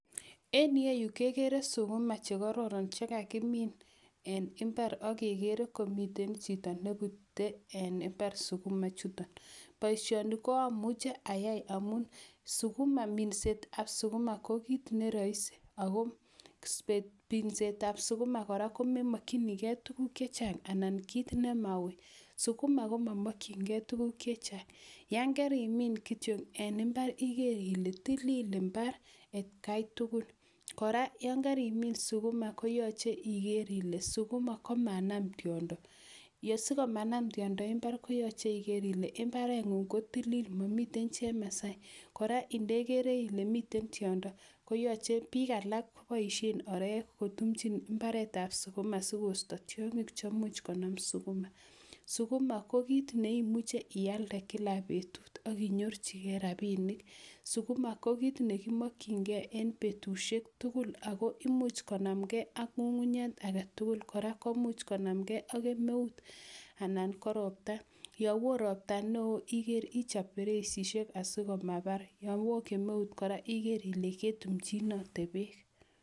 en iyeyu kegere sukuma che kororon che kakimin en imbar ak kegere komiten chito nepute en imbar sukuma ichuton boishoni ko amuche ayai amun sukuma minset tab sukuma ko kit neroisi ako ripsetab sukuma kora komemokyinikee tuguk chechang anan kit nemauii sukuma komomokyin keen tuguk chechang yoon kerimin kityok en imbar iger ile tilil imbar at kai tugul kora yoon kerimin sukuma koyoche iger ile sukuma komanam tiondo yesikomanam tiondo en imbar koyoche iger ile mbarengung kotilil momiten chemaasai kora indegere ile miten tiondo koyoche biik alan koboishen orek kotumnchin mbaretab sukuma sikoisto tiongik cheimuch konam sukuma sukuma kokit neimuche ialde kila betut ak inyorjigee rabinik sukuma kokit nekimokyin kee en betushek tugul ago imuch konamkee ak ngungunyek agetugul kora komuch konamkee ak kemeut anan korobta yon oo iger ile kechob bereisit sikomabar yoon woo kemeut kora iker ile ketumchinote beek.